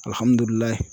Alihamudulila